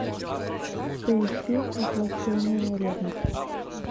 поищи воплощение ревности